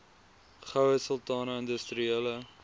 goue sultana industriele